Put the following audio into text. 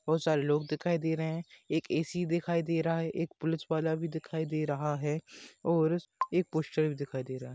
बहुत सारे लोग दिखाई दे रहे है एक एसी दिखाई दे रहा है एक पुलिस वाला भी दिखाई दे रहा है और एक पोस्टर भी दिखाई दे रहा है।